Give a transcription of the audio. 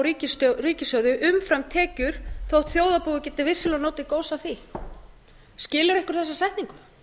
úr ríkissjóði umfram tekjur þó þjóðarbúið geti vissulega notið góðs af því skilur einhver þessa setningu